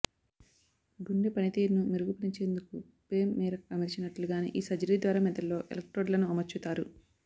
గుండె పనితీరును మెరుగుపనిచేందుకు పేస్ మేరక్ అమర్చినట్లుగానే ఈ సర్జరీ ద్వారా మెదడులో ఎలక్ట్రోడ్లను అమర్చుతారు